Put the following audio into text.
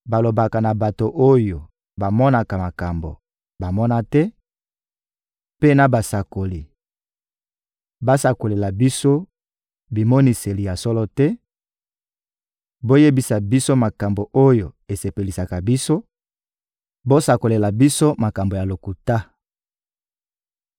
balobaka na bato oyo bamonaka makambo: «Bomona te,» mpe na basakoli: «Bosakolela biso bimoniseli ya solo te, boyebisa biso makambo oyo esepelisaka biso, bosakolela biso makambo ya lokuta.